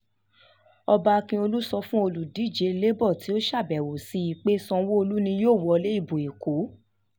ọba akiolu sọ sọ fún olùdíje labour tó ṣàbẹ̀wò sí i pé sanwó-olu ni yóò wọlé ìbò èkó